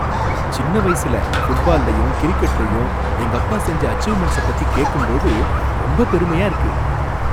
சின்ன வயசுல ஃபுட்பால்லயும் கிரிக்கெட்லயும் எங்கப்பா செஞ்ச அச்சீவ்மென்ட்ஸ பத்தி கேட்கும் போது ரொம்ப பெருமையா இருக்கு.